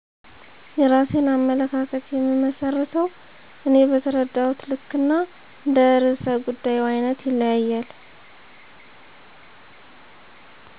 የራሴን አመለካከት የምመስርተው እኔ በተረዳሁት ልክ እና እንደ ርዕሰ ጉዳዩ አይነት ይለያያል